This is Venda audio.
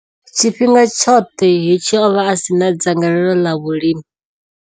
Tshifhinga tshoṱhe hetshi, o vha a si na dzangalelo ḽa vhulimi.